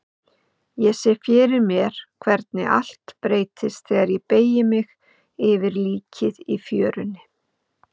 Ég sé fyrir mér hvernig allt breytist þegar ég beygi mig yfir líkið í fjörunni.